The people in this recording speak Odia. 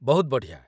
ବହୁତ ବଢ଼ିଆ ।